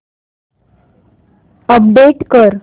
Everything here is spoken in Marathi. अपडेट कर